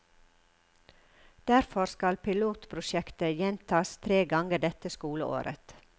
Derfor skal pilotprosjektet gjentas tre ganger dette skoleåret.